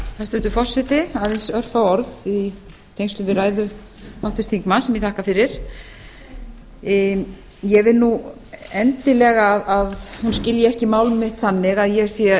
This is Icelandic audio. hæstvirtur forseti aðeins örfá orð í tengslum við ræðu háttvirts þingmanns sem ég þakka fyrir ég vil nú endilega að hún skilji ekki mál mitt þannig að það sé